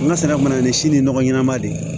N ka se ka na ni si ni nɔgɔ ɲɛnama de ye